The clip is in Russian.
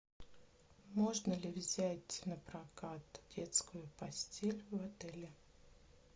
можно ли взять напрокат детскую постель в отеле